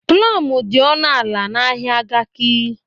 Plọm dị ọnụ ala n'ahịa Garki.